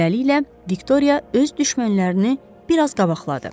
Beləliklə, Viktoriya öz düşmənlərini biraz qabaqladı.